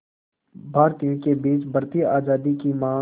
भारतीयों के बीच बढ़ती आज़ादी की मांग